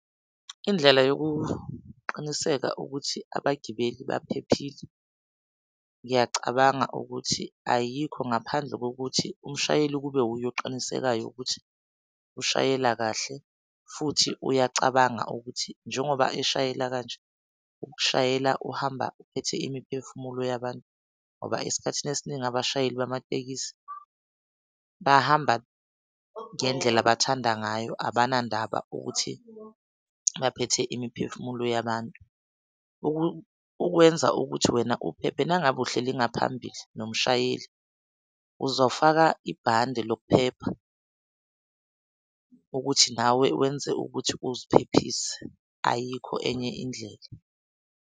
Indlela yokuqiniseka ukuthi abagibeli baphephile. Ngiyacabanga ukuthi ayikho ngaphandle kokuthi umshayeli ukube wuye oqinisekayo ukuthi ushayela kahle futhi uyacabanga ukuthi njengoba eshayela kanje ushayela uhamba uphethe imiphefumulo yabantu, ngoba esikhathini esiningi abashayeli bamatekisi bahamba ngendlela abathanda ngayo abanandaba ukuthi baphethe imiphefumulo yabantu. Ukwenza ukuthi wena uphephe nangabe uhleli ngaphambi nomshayeli, uzofaka ibande lokuphepha ukuthi nawe wenze ukuthi uziphephise. Ayikho enye indlela.